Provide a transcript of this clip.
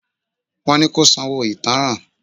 Wọ́n ni kó sanwó ìtánràn.